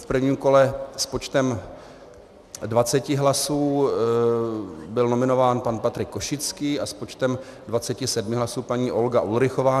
V prvním kole s počtem 20 hlasů byl nominován pan Patrik Košický a s počtem 27 hlasů paní Olga Ulrichová.